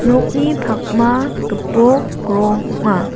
nokni pakma gipok rong ong·a.